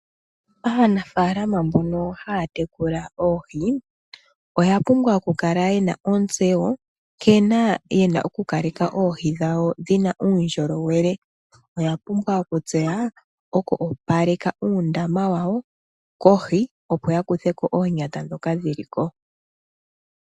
Aanafaalama mbono haya tekula oohi oya pumbwa oku kala yena ontseyo nkene yena oku kaleka oohi dhawo dhina uundjolowele. Oya pumbwa oku tseya oku opaleka uundama wawo kohi, opo ya kuthe ko oonyata ndhoka dhili ko.